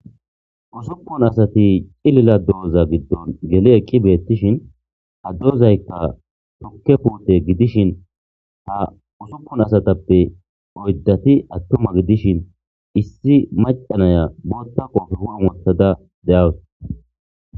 Nsuppun asati cilila dooza biddon geli eqqi beettishin ha duozaykka tokke puute gidishin ha usuppun asatappe oyddati attuma gidishin issi macanaya bootta koofe hu7en wothada de7awus